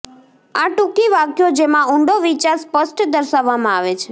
આ ટૂંકી વાક્યો જેમાં ઊંડો વિચાર સ્પષ્ટ દર્શાવવામાં આવે છે